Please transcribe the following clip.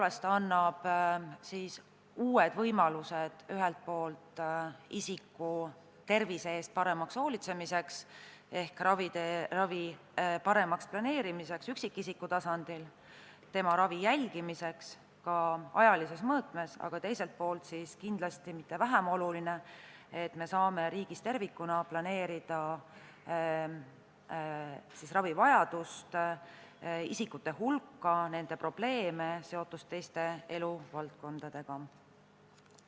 Eelnõu annab tõepoolest uued võimalused ühelt poolt isiku tervise eest paremaks hoolitsemiseks ehk ravi paremaks planeerimiseks üksikisiku tasandil, tema ravi jälgimiseks ka ajalises mõõtmes, aga teiselt poolt ei ole kindlasti mitte vähem oluline, et me saame riigis tervikuna planeerida ravivajadust, ravi vajavate isikute hulka, nende probleeme ja seotust teiste eluvaldkondadega.